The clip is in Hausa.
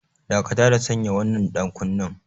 Dakata da sanya wannan ɗankunnen!